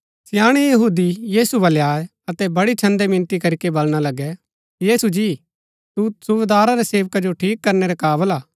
स्याणैं यहूदी यीशु बलै आये अतै बड़ी छन्‍दै मिनती करीके बलणा लगै यीशु जी तू सुबेदारा रै सेवका जो ठीक करनै रै काबल हा